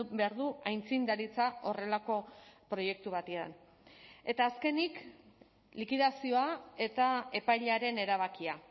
behar du aitzindaritza horrelako proiektu batean eta azkenik likidazioa eta epailearen erabakia